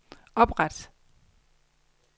opret